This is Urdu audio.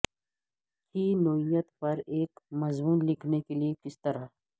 کی نوعیت پر ایک مضمون لکھنے کے لئے کس طرح